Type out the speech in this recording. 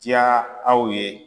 Diya aw ye.